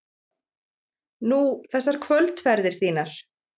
Nú, þessar kvöldferðir þínar.